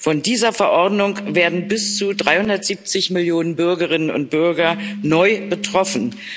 Von dieser Verordnung werden bis zu 370 Millionen Bürgerinnen und Bürger neu betroffen.